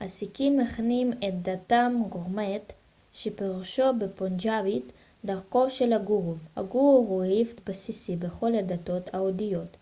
הסיקים מכנים את דתם גורמאט שפירושו בפונג'אבית דרכו של הגורו הגורו הוא היבט בסיסי בכל הדתות ההודיות